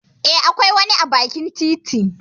Eh, akwai wani a bakin titi.